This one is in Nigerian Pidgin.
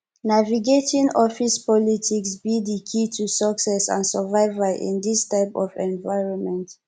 navigating office politics be di key to success and survival in dis type of environment